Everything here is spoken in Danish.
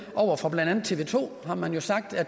over for blandt andet tv to har man jo sagt at